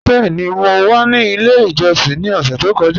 Bẹẹ̀ni, mọ wa ní ilẹ̀ ìjọ́ṣìn ni ọ̀ṣẹ̀ tó kọ́ja.